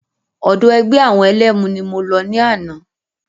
Ọ̀dọ̀ ẹgbẹ́ àwọn ẹlẹ́mu ni mo lọ ní àná.